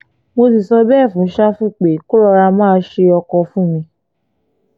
mo sì sọ bẹ́ẹ̀ fún ṣáfù pé kó rọra máa ṣe ọkọ fún mi